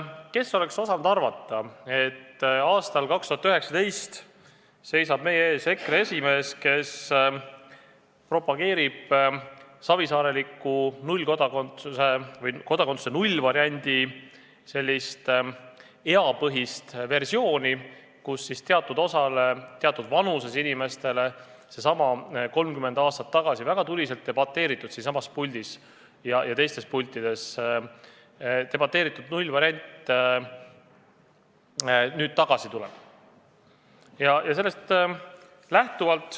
Kes oleks osanud arvata, et aastal 2019 seisab meie ees EKRE esimees, kes propageerib savisaareliku kodakondsuse nullvariandi eapõhist versiooni, mille kohaselt teatud osale teatud vanuses inimestele võimaldatakse 30 aastat tagasi siinsamas puldis ja teistes pultides debateeritud nullvarianti.